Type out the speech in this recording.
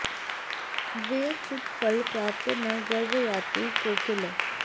दिव्यं चूत फलं प्राप्य न गर्वं याति कोकिलः